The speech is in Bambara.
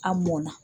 An mɔnna